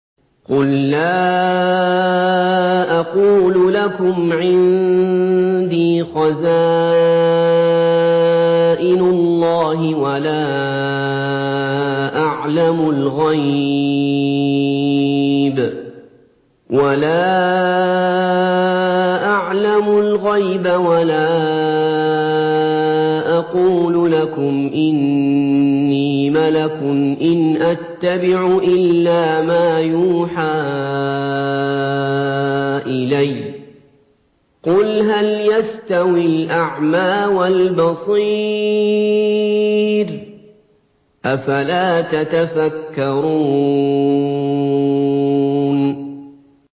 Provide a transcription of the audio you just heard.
قُل لَّا أَقُولُ لَكُمْ عِندِي خَزَائِنُ اللَّهِ وَلَا أَعْلَمُ الْغَيْبَ وَلَا أَقُولُ لَكُمْ إِنِّي مَلَكٌ ۖ إِنْ أَتَّبِعُ إِلَّا مَا يُوحَىٰ إِلَيَّ ۚ قُلْ هَلْ يَسْتَوِي الْأَعْمَىٰ وَالْبَصِيرُ ۚ أَفَلَا تَتَفَكَّرُونَ